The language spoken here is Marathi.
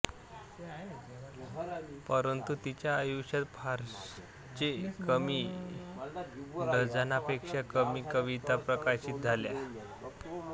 परंतु तिच्या आयुष्यात फारचे कमी डझनापेक्षा कमी कविता प्रकाशित झाल्या